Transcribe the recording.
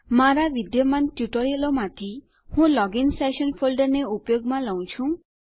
મારા વિદ્યમાન ટ્યુટોરીયલોમાંથી હું લોગિન સેશન ફોલ્ડરને ઉપયોગમાં લઉ છું